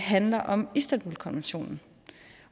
handler om istanbulkonventionen